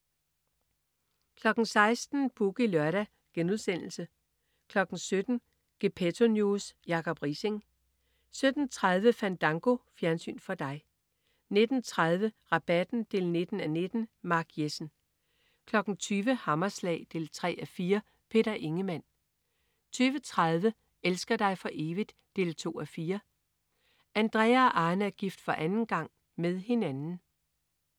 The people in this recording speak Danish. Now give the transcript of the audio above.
16.00 Boogie Lørdag* 17.00 Gepetto News. Jacob Riising 17.30 Fandango. Fjernsyn for dig 19.30 Rabatten 19:19. Mark Jessen 20.00 Hammerslag 3:4. Peter Ingemann 20.30 Elsker dig for evigt? 2:4. Andrea og Arne er gift for anden gang. Med hinanden